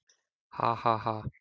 """Ha, ha, ha!"""